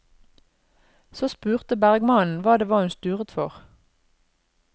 Så spurte bergmannen hva det var hun sturet for.